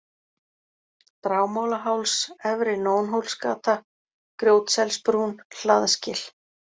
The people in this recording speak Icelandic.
Dragmálaháls, Efri-Nónhólsgata, Grjótselsbrún, Hlaðsgil